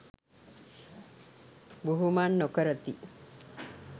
බුහුමන් නොකරති.